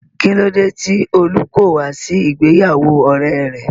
Kílódé tí Olú kò wá sí ìgbéyàwó ọ̀rẹ́e rẹ̀?